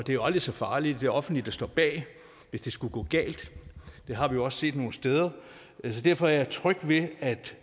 det er jo aldrig så farligt det offentlige der står bag hvis det skulle gå galt det har vi også set nogle steder derfor er jeg tryg ved at